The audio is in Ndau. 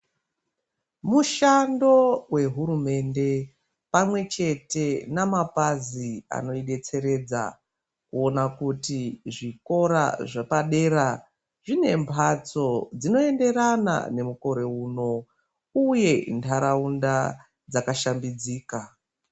Mushando wehurumende, pamwe chete namapazi anoyidetseredza kuwona kuti zvikora zvepadera zvinembatso dzinoenderana nomukore wuno. Uye ndharawunda dzakashambidzika.